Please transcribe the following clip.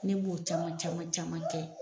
Ne b'o caman caman caman kɛ .